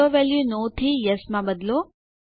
auto value no થી yes માં બદલો